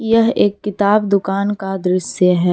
यह एक किताब दुकान का दृश्य है।